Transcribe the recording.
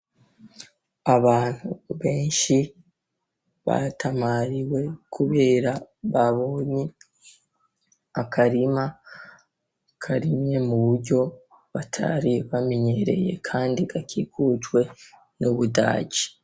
Abantu benshi batamariwe kubera babonye akarima karimye mu buryo batari bamenyereye Kandi gakikujwe n'ubudaji.